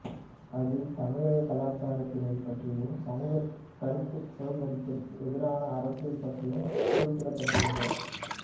அதில் தமிழக கலாச்சாரத்தினைப் பற்றியும் சமூகத்தில் கருத்து சுதந்திரத்திற்கு எதிரான அரசியல் பற்றியும் குறிப்பிட்டிருந்தார்